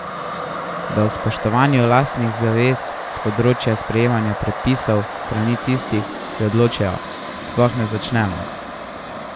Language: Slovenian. Da o spoštovanju lastnih zavez s področja sprejemanja predpisov s strani tistih, ki odločajo, sploh ne začnemo!